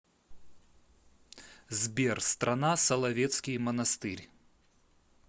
сбер страна соловецкий монастырь